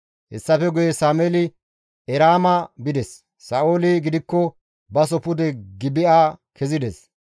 Hessafe guye Sameeli Eraama bides; Sa7ooli gidikko baso pude Gibi7a kezides.